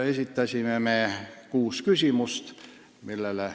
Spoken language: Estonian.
Esitasime kuus küsimust.